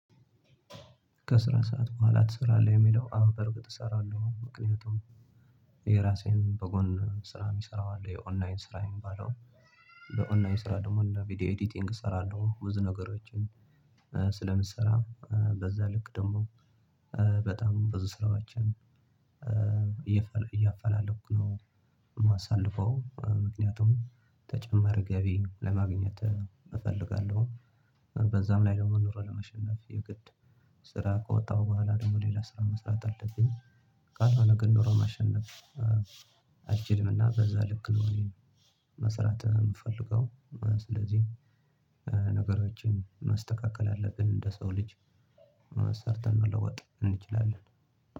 ከስራ ሰዓት በኋላ ትሰራለህ የሚለው? አወ በእርግጥ እሰራለሁ ምክንያቱም የራሴን በጎን ስራ ሚሰራው አለ የኦንላይን ስራ ሚባለው። በኦንላይን ስራ ደግሞ ቪዲዮ ኤዲቲንግ እሰራለሁ ብዙ ነገሮችን። ስለምሰራ በዛ ልክ ደግሞ በጣም ብዙ ስራዎችን እያፈላለኩ ነው። ማሳልፈው ምክንያቱም ተጨማሪ ገቢ ለማግኘት እፈልጋለሁ። በዛም ላይ ኑሮ ለመሸነፍ የግድ ስራ ከወጣሁ በኋላ ደግሞ ሌላ ስራ መስራት አለብኝ። ካልሆነ ግን ኖሮ ማሸነፍ አጅልምና በዛ ልክ ነው። እኔ መስራት ምፈልገው። ስለዚህ ነገሮችን ማስተካከል አለብን እንደ ሰው ልጅ ሰርተን መለወጥ እንችላለን።